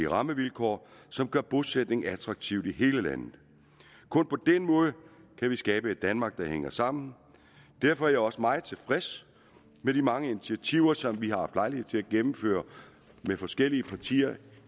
rammevilkår som gør bosætning attraktivt i hele landet kun på den måde kan vi skabe et danmark der hænger sammen derfor er jeg også meget tilfreds med de mange initiativer som vi har haft lejlighed til at gennemføre med forskellige partier